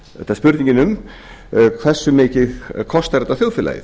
þetta spurningin um hversu mikið kostar þetta þjóðfélagið